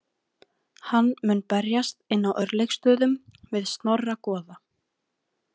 Hann mun berjast inn á Örlygsstöðum við Snorra goða.